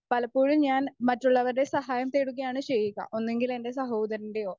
speaker 1 പലപ്പോഴും ഞാൻ മറ്റുള്ളവരുടെ സഹായം തേടുകയാണ് ചെയ്യുക ഒന്നെങ്കിലെൻ്റെ സഹോദരൻ്റെയോ